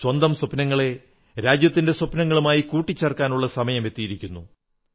സ്വന്തം സ്വപ്നങ്ങളെ രാജ്യത്തിന്റെ സ്വപ്നങ്ങളുമായി കൂട്ടിചേർക്കാനുള്ള സമയമെത്തിയിരിക്കുന്നു